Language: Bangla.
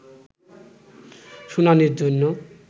শুনানির জন্য